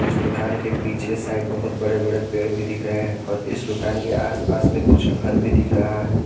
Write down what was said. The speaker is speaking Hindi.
दुकान के पीछे साइड बहुत बड़े बड़े पेड़ भी दिख रहे हैं और इस दुकान के आसपास में कुछ घर भी दिख रहा है।